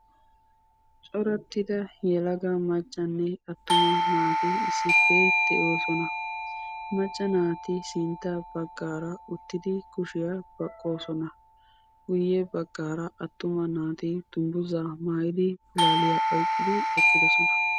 Corattida yelaga maccanne attuma naati issippe de'oosona, macca naati sintta baggaara uttidi kushiyaa baqqoosona. Guye baggaara attuma naati dungguza maayidi pulalliya oyqqidi eqqidoosona.